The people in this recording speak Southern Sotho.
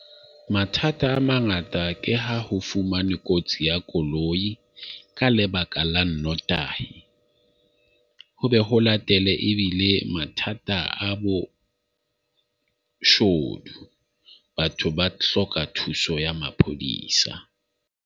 Mathata a mangata ke ha ho fumanwe kotsi ya koloi ka lebaka la nnotahi, ho be ho latele ebile mathata a boshodu. Batho ba hloka thuso ya maphodisa .